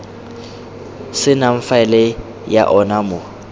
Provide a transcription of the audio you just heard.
senang faele ya ona mo